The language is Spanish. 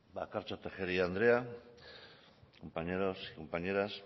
bakartxo tejeria andrea compañeros y compañeras